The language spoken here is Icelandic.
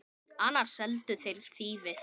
Annars seldu þeir þýfið.